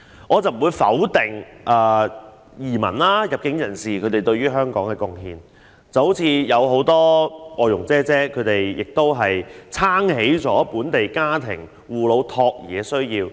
我不否定移民和入境人士對香港所作的貢獻，正如很多外傭承擔了本地家庭的護老和託兒需要。